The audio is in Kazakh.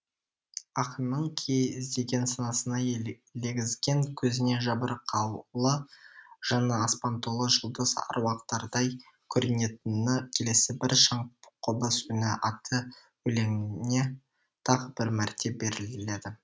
ақынның кие іздеген санасына елегізген көзіне жабырқаулы жанына аспан толы жұлдыз аруақтардай көрінетіні келесі бір шаңқобыз үні атты өлеңіне тағы бір мәрте беріледі